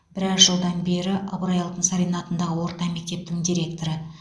біраз жылдан бері ыбырай алтынсарин атындағы орта мектептің директоры